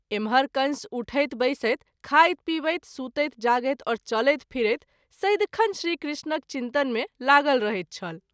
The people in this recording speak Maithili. इम्हर कंस उठैत- बैसैत, खाइत-पीबैत, सुतैत -जागैत और चलैत - फिरैत सदिखन श्री कृष्णक चिंतन मे लागल रहैत छल।